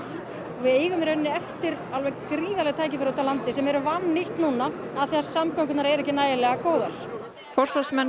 við eigum í rauninni eftir alveg gríðarleg tækifæri út á landi sem eru vannýtt núna af því samgöngurnar eru ekki nægilega góðar forsvarsmenn